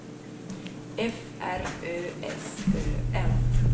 F R Ö S Ö N